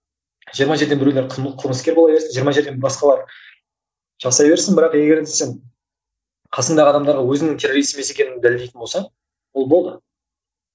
жиырма жерден біреулер қылмыскер бола берсін жиырма жерден басқалар жасай берсін бірақ егер де сен қасыңдағы адамдарға өзіңнің террорист емес екендігіңді дәлелдейтін болсаң ол болды